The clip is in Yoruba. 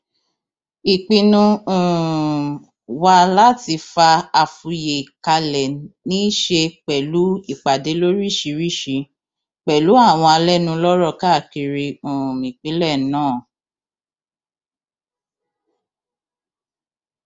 ìpinnu um wa láti fa afuye kalẹ ní í ṣe pẹlú ìpàdé lóríṣìíríṣìí pẹlú àwọn alẹnulọrọ káàkiri um ìpínlẹ náà